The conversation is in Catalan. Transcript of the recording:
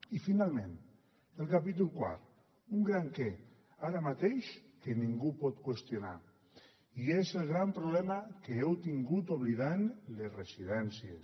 i finalment el capítol quart un gran què ara mateix que ningú pot qüestionar i és el gran problema que heu tingut en oblidar les residències